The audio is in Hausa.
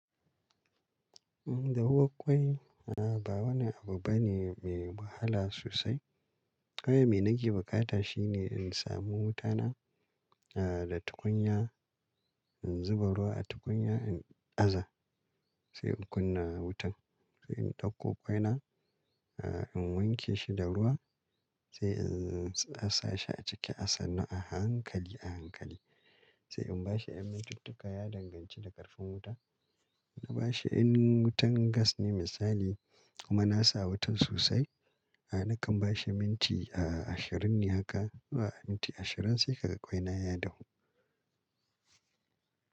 Eh, dawuwa ƙwai, a ba wani abu bane mai wahala sosai. Kawai me nake bukata shine in samu wutana a da tukunya, in zuba ruwa a tukunya, in aza sai in kunna wutan. Sai in ɗauko ƙwai na, a in wanke shi da ruwa sai in sa shi a ciki a sanan a hankali a hankali. Sai in bashi yan minti tukka ya danganci da ƙarfin wuta. Na bashi in wutan gas ne misali kuma na sa wutan sosai, a nakan bashi minti a ashirin ne haka. A minti ashirin sai ka ga ƙwinana ya dahu.